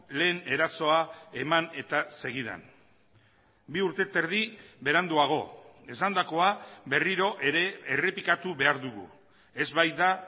lehen erasoa eman eta segidan bi urte eta erdi beranduago esandakoa berriro ere errepikatu behar dugu ez baita